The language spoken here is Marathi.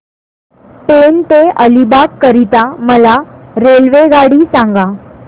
पेण ते अलिबाग करीता मला रेल्वेगाडी सांगा